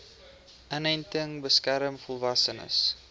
inenting beskerm volwassenes